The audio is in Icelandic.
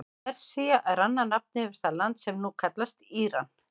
Persía er annað nafn yfir það land sem nú kallast Íran.